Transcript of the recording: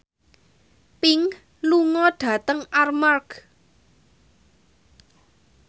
Pink lunga dhateng Armargh